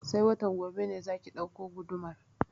Sai watan gobe ne za ki ɗauko gudumar?